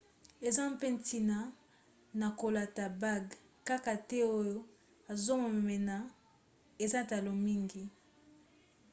eza mpe ntina na kolata bague kaka te oyo ezomonana eza talo mingi